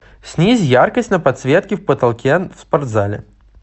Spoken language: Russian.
снизь яркость на подсветке в потолке в спортзале